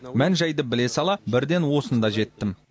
мән жайды біле сала бірден осында жеттім